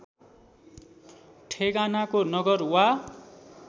ठेगानाको नगर वा